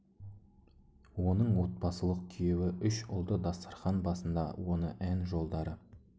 оның отбасылық күйеуі үш ұлды дастархан басында оны ән жолдары